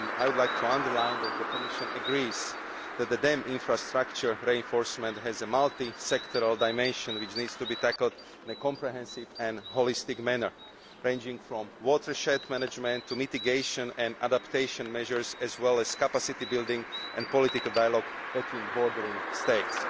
I would like to underline that the Commission agrees that dam infrastructure reinforcement has a multi sectoral dimension which needs to be tackled in a comprehensive and holistic manner, ranging from watershed management to mitigation and adaptation measures, as well as capacity building and political dialogue between bordering states.